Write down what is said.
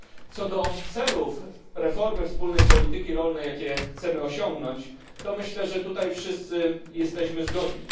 Co do celów reformy wspólnej polityki rolnej, jakie chcemy osiągnąć, to myślę, że tutaj wszyscy jesteśmy zgodni.